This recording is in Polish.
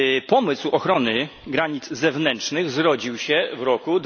Pomysł ochrony granic zewnętrznych zrodził się w roku